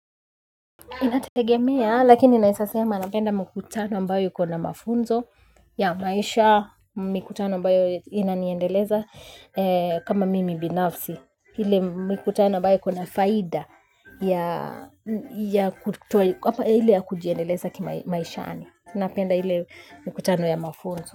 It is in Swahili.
Inategemea lakini naeza sema napenda mkutano ambayo ikona mafunzo ya maisha mkutano ambayo inaniendeleza kama mimi binafsi ile mkutano ambayo ikona faida ya kuto kwa ile ya kujiendeleza kimaisha ani napenda ile mkutano ya mafunzo.